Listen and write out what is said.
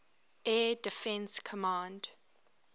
air defense command